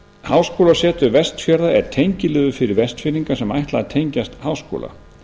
háskólasetur vestfjarða er tengiliður fyrir vestfirðinga sem ætla að tengjast háskóla